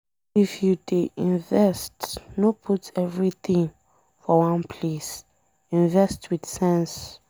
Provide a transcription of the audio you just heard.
If you dey invest, no put everything for one place, invest with sense.